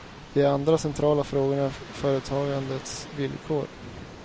Den andra centrala frågan är företagandets villkor.